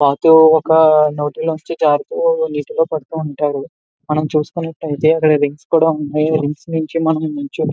రైతు ఒక్క నీటిలో పడుతూ ఉంటారు మనం చూస్తున్నటైతే వింగ్స్ కూడా ఉన్నాయి వింగ్స్ యొక్క --